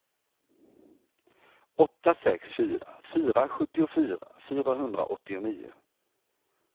åtta sex fyra fyra sjuttiofyra fyrahundraåttionio